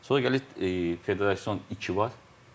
Sonra gəlir Federation iki var.